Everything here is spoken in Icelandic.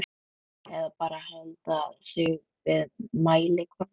Eða bara halda sig við mælikvarðana?